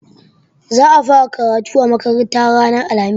Za a fara karatu a makarantar ranar alhamis.